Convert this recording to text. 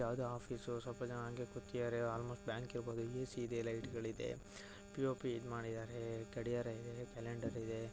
ಯಾವದೋ ಆಫೀಸು ಸ್ವಲ್ಪ ಜನ ಹಂಗೆ ಕೂತಿದ್ದಾರೆ ಆಲ್ಮೋಸ್ಟ್ ಬ್ಯಾಂಕ್ ಇರ್ಬೋದು ಎ.ಸಿ ಇದೆ ಲೈಟ್ ಗಳಿದೆ ಪಿ.ಓ.ಪಿ ಇದ್ ಮಾಡಿದ್ದಾರೆ ಗಡಿಯಾರ ಇದೆ ಕ್ಯಾಲೆಂಡರ್ ಇದೆ .